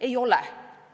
Ei oleks!